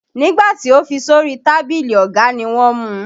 Nígbà tí o fi sórí tábìlì ọ̀gá ni wọ́n mu.